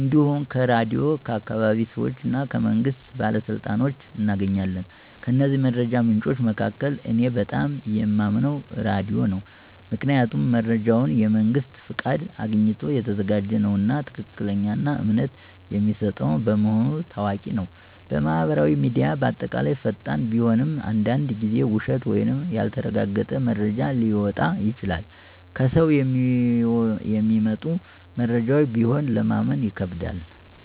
እንዲሁም ከራድዮን፣ ከአካባቢ ሰዎች እና ከመንግስት ባለሥልጣኖች እናገኛለን። ከእነዚህ መረጃ ምንጮች መካከል እኔ በጣም የማምነው ራዲዮ ነው። ምክንያቱም መረጃው የመንግስት ፍቃድ አግኝቶ የተዘጋጀ ነውና፣ ትክክለኛና እምነት የሚሰጠው በመሆኑ ታዋቂ ነው። ማህበራዊ ሚዲያ በአጠቃላይ ፈጣን ቢሆንም አንዳንድ ጊዜ ውሸት ወይም ያልተረጋገጠ መረጃ ሊወጣ ይችላል። ከሰው የሚመጡ መረጃዎችም ቢሆን ለማመን ይከብዳል።